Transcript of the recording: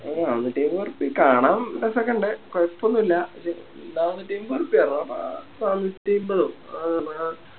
നാനൂറ്റയിമ്പ ഉറുപ്യ കാണാൻ രസോക്കിണ്ട് കൊയപ്പൊന്നുല്ല പക്ഷെ നാനൂറ്റയിമ്പ ഉറുപ്പയെ റാ നാനൂറ്റയിമ്പതോ